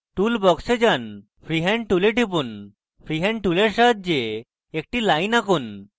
tool box a যান freehand tool টিপুন সুতরাং freehand টুলের সাহায্যে একটি line আঁকুন